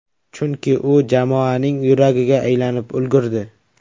Chunki, u jamoaning yuragiga aylanib ulgurdi.